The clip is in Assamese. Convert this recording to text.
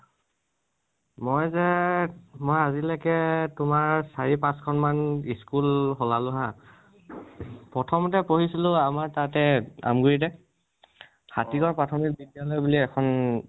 মই যে মই আজিলৈকে তোমাৰ চাৰি পাঁচ খন মান school শলালো হা। প্ৰথমতে পঢ়িছিলোঁ আমাৰ তাতে আমগুৰিতে হাতীগাওঁ পাৰ্থমীক বিদ্যাল়য় বুলি এখন